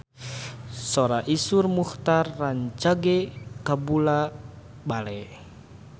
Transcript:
Sora Iszur Muchtar rancage kabula-bale